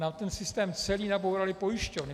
Nám ten systém celý nabouraly pojišťovny.